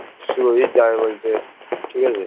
সুরজিত যাবে বলছে ঠিক আছে